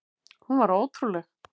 Hún var ótrúleg.